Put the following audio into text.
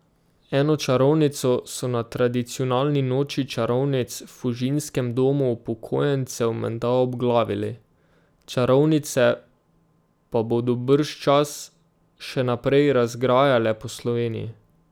Eno čarovnico so na tradicionalni noči čarovnic v Fužinskem domu upokojencev menda obglavili, čarovnice pa bodo bržčas še naprej razgrajale po Sloveniji.